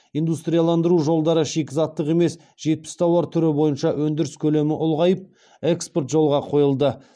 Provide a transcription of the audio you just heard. индустрияландыру жылдары шикізаттық емес жетпіс тауар түрі бойынша өндіріс көлемі ұлғайып экспорт жолға қойылды